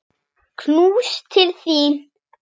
Knús til þín.